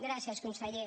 gràcies conseller